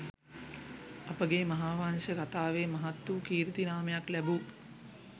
අපගේ මහාවංශ කතාවේ මහත් වූ කීර්ති නාමයක් ලැබූ